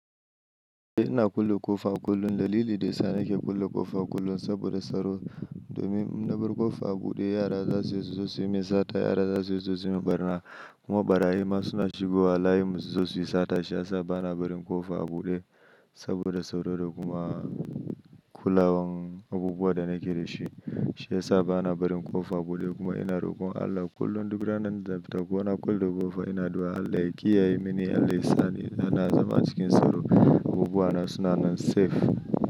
Ina kulle ƙofa kullum, da lilin da yasa nake kulle ƙofa kullum saboda tsaro domin in na bar ƙofa a buɗe yara za su iya su zo su yi min sata, yara za su iya su zo su yi min ɓarna, kuma ɓarayi ma suna shigowa layinmu su zo su yi sata shi ya sa ba na barin ƙofa a buɗe saboda tsaro da kuma kulawan abubuwan da nake da shi. Shi ya sa ba na barin ƙofa a buɗe kuma ina rokon Allah kullum duk ranan da zan fita ko na kulle ƙofar ina adu'a Allah ya kiyaye mini Allah ya sa ni, na zama a cikin tsaro, abubuwa na suna nan safe.